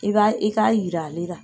I b'a i k'a yira ale ra.